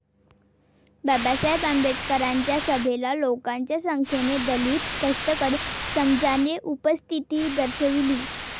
बाबासाहेब आंबेडकरांच्या सभेला लोकांच्या संख्येने दलित, कष्टकरी समजाने उपस्थिती दर्शविली.